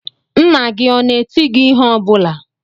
Nna gị ọ na-eti gị ihe ọ bụla?